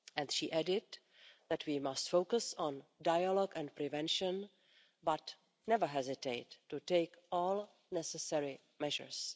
She added that we must focus on dialogue and prevention but never hesitate to take all necessary measures.